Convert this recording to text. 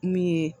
Min ye